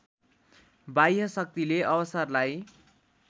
बाह्य शक्तिले अवसरलाई